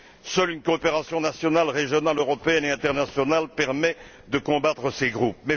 Seule une coopération nationale régionale européenne et internationale permet de combattre ces groupes.